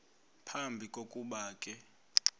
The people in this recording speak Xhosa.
phambi kokuba ke